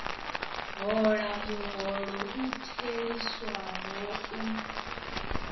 hola muholo u theliswaho u